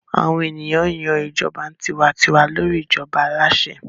Àwọn ènìyàn yan ìjọba tiwa-n-tiwa lórí ìjọba aláṣẹ.